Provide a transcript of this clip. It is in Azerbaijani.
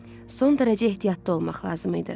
Son dərəcə ehtiyatlı olmaq lazım idi.